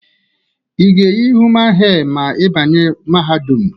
I ga eyi human hee ma i banye mahadum?